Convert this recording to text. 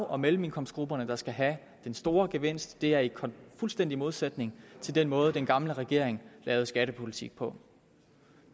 og mellemindkomstgrupperne der skal have den store gevinst det er i fuldstændig modsætning til den måde den tidligere regering lavede skattepolitik på